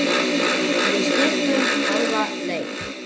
Við stukkum hálfa leið.